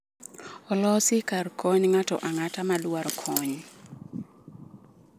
Olosi kar konyo ng’ato ang’ata ma dwaro kony.